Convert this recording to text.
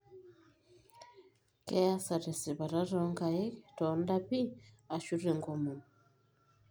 Keasa tesipata toonkaik, toondapi, ashu tenkomom.